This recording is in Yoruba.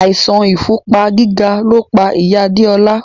Àìsàn ìfúnpá gíga lo pa ìyá Adéọlá